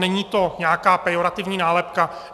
Není to nějaká pejorativní nálepka.